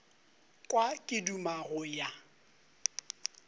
kwa ke duma go ya